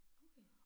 Okay